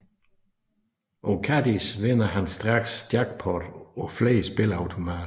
På Kadies vinder han straks jackpot på flere spilleautomater